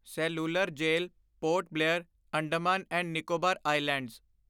cellular jail Port Blair, Andaman and Nicobar islands